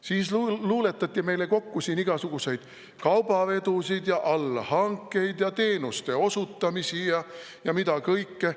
" Siis luuletati meile kokku siin igasuguseid kaubavedusid ja allhankeid ja teenuste osutamisi ja mida kõike.